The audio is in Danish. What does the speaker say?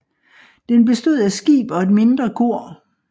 Den bestod af skib og et mindre kor